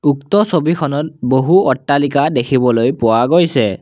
উক্ত ছবিখনত বহু অট্টালিকা দেখিবলৈ পোৱা গৈছে।